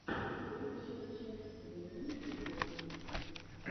лучшая часть времени футбола